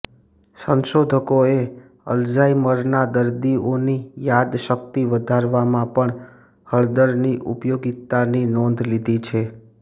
સંશોધકોએ અલ્ઝાઇમરના દર્દીઓની યાદ શકિત વધારવામાં પણ હળદરની ઉપયોગીતાની નોંધ લીધી છે